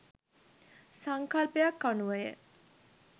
සංකල්පයක් අනුව ය.